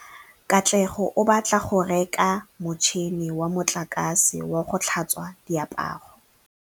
Katlego o batla go reka motšhine wa motlakase wa go tlhatswa diaparo.